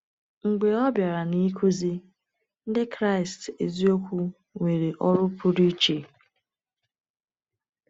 Mgbe ọ bịara n’ịkụzi, Ndị Kraịst eziokwu nwere ọrụ pụrụ iche.